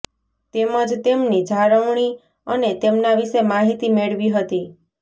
તેમજ તેમની જાણવણી અને તેમનાં વિશે માહીતી મેળવી હતી